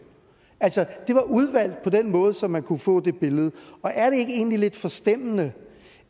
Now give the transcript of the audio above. det var udvalgt på den måde så man kunne få det billede og er det egentlig ikke lidt forstemmende